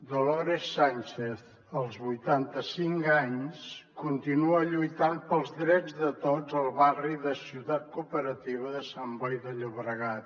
dolores sánchez als vuitanta cinc anys continua lluitant pels drets de tots al barri de ciutat cooperativa de sant boi de llobregat